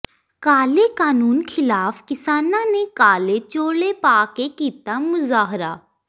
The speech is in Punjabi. ਕਾਲੇ ਕਾਨੂੰਨ ਖ਼ਿਲਾਫ਼ ਕਿਸਾਨਾਂ ਨੇ ਕਾਲੇ ਚੋਲੇ ਪਾ ਕੇ ਕੀਤਾ ਮੁਜ਼ਾਹਰਾ